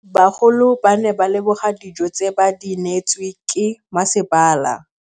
Bagolo ba ne ba leboga dijô tse ba do neêtswe ke masepala.